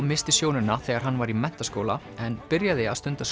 missti sjónina þegar hann var í menntaskóla en byrjaði að stunda